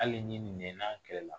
Hali ɲin ni nɛn n'a kɛlɛla